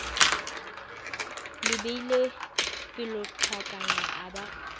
le beile pelonghakana a ba